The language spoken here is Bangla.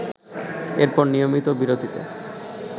এরপর নিয়মিত বিরতিতে